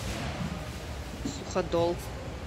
суходол